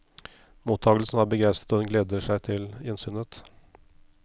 Mottagelsen var begeistret og hun gleder seg til gjensynet.